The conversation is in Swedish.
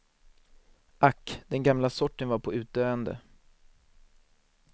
Ack, den gamla sorten var på utdöende.